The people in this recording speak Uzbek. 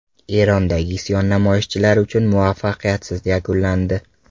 Erondagi isyon namoyishchilar uchun muvaffaqiyatsiz yakunlandi.